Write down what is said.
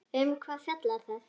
Um hvað fjallar það?